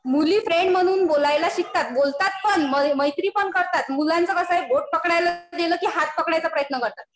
मुली फ्रेंड म्हणून बोलायला शिकतात. बोलतात पण. मैत्री पण करतात. मुलांचं कसं आहे, बोट पकडायला दिलं कि हात पकडायचा प्रयत्न करतात.